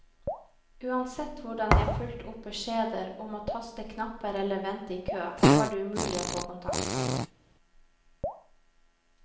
Uansett hvordan jeg fulgte opp beskjeder om å taste knapper eller vente i kø, var det umulig å få kontakt.